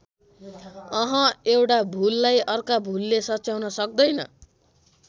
अहँ एउटा भूललाई अर्काको भूलले सच्याउन सक्तैन।